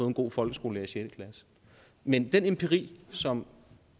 en god folkeskolelærer i sjette klasse men den empiri som